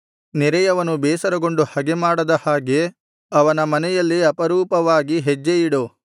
ನೆರೆಯವನು ಬೇಸರಗೊಂಡು ಹಗೆಮಾಡದ ಹಾಗೆ ಅವನ ಮನೆಯಲ್ಲಿ ಅಪರೂಪವಾಗಿ ಹೆಜ್ಜೆಯಿಡು